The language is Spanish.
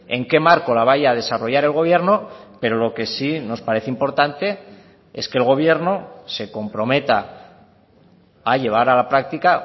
en qué marco la vaya a desarrollar el gobierno pero lo que sí nos parece importante es que el gobierno se comprometa a llevar a la práctica